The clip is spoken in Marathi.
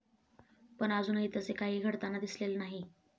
पण अजूनही तसे काही घडताना दिसलेले नाही.